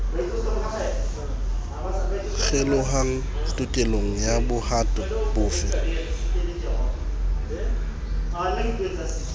kgelohang tokelong ya bohato bofe